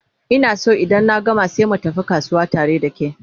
Ina San in na gama sai mu tafi kasuwa tare da ke